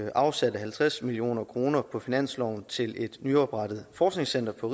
afsatte halvtreds million kroner på finansloven til et nyoprettet forskningscenter på